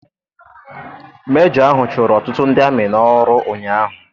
Mejọ ahụ chụrụ ọtụtụ ndị amị n'ọrụ ụnyaahụ.